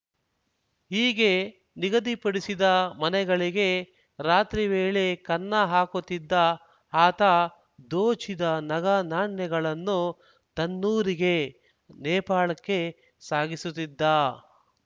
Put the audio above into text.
ಹೀಗೆ ನಿಗದಿಪಡಿಸಿದ ಮನೆಗಳಿಗೆ ರಾತ್ರಿ ವೇಳೆ ಕನ್ನ ಹಾಕುತ್ತಿದ್ದ ಆತ ದೋಚಿದ ನಗನಾಣ್ಯಗಳನ್ನು ತನ್ನೂರಿಗೆ ನೇಪಾಳಕ್ಕೆ ಸಾಗಿಸುತ್ತಿದ್ದ